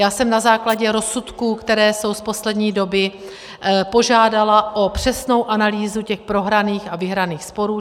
Já jsem na základě rozsudků, které jsou z poslední doby, požádala o přesnou analýzu těch prohraných a vyhraných sporů.